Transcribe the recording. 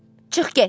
Çıx get.